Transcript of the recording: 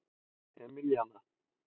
Emilíana